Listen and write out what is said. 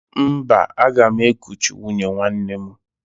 Mba, aga m ekuchi nwunye nwanne m